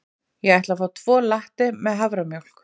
Ég ætla að fá tvo latte með haframjólk.